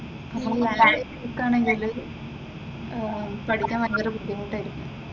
നമ്മള് ലാഗായിട്ട് നിക്കാണെങ്കില് ഏർ പഠിക്കാൻ ഭയങ്കര ബുദ്ധിമുട്ട് ആയിരിക്കും.